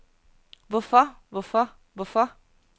hvorfor hvorfor hvorfor